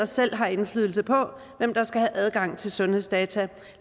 selv har indflydelse på hvem der skal have adgang til sundhedsdata